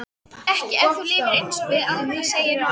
Ekki ef þú lifir einsog við Alda, segir mamma hennar.